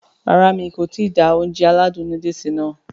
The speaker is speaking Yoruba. Rárá mi kò ti da Ounjẹ aládùn nóódùsì nàá